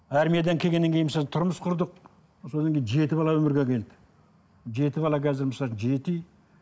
армиядан келгеннен кейін мысалы тұрмыс құрдық содан кейін жеті бала өмірге әкелді жеті бала қазір жеті үй